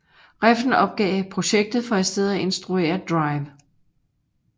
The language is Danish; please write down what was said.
Refn opgav projektet for i stedet at instruere Drive